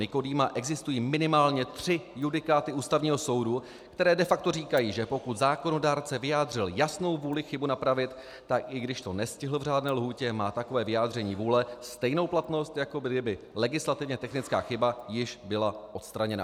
Nykodýma existují minimálně tři judikáty Ústavního soudu, které de facto říkají, že pokud zákonodárce vyjádřil jasnou vůli chybu napravit, tak i když to nestihl v řádné lhůtě, má takové vyjádření vůle stejnou platnost, jako kdyby legislativně technická chyba již byla odstraněna.